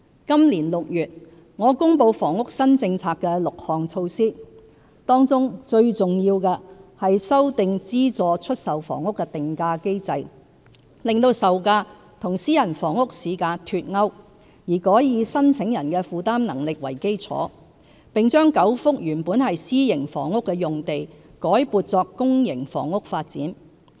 今年6月，我公布房屋新政策的6項措施，當中最重要的是修訂資助出售房屋的定價機制，令售價與私人房屋市價脫鈎，而改以申請人的負擔能力為基礎，並將9幅原本是私營房屋的用地改撥作公營房屋發展。